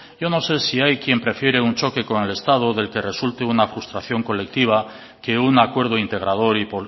yo no sé si hay quien prefiere un choque con el estado del que resulte una frustración colectiva que un acuerdo integrador y